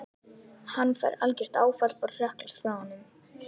Hann fær algert áfall og hrökklast frá honum.